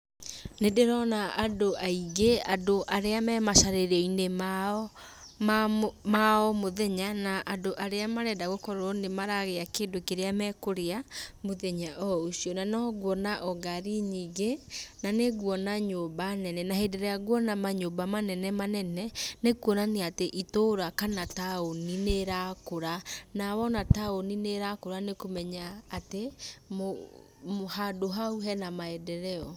Nĩ ndĩrona andũ aingĩ, andũ arĩa me macarĩrioinĩ mao ma o mũthenya, na andũ arĩa marenda gũkorwo nĩmaragĩa kĩndũ kĩrĩa me kũrĩa, mũthenya o ũcio. Na no nguona o ngari nyingĩ. Na nĩ nguona nyũmba nene, na hĩndĩ ĩrĩa nguona manyũmba manene manene, nĩ kuonania itũra kana taũni nĩrakũra, na wona taũni nĩrakũra nĩ kũmenya atĩ handũ hau hena maendeleo.